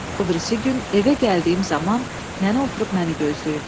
O birisi gün evə gəldiyim zaman nənə oturub məni gözləyirdi.